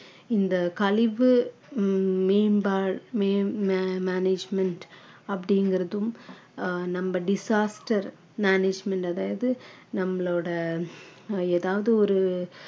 இந்த கழிவு உம் மேம்பால் மேம்~ மே~ management அப்படிங்கறதும் ஆஹ் நம்ம disaster management அதாவது நம்மளோட அஹ் ஏதாவது ஒரு